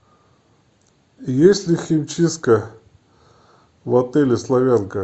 есть ли химчистка в отеле славянка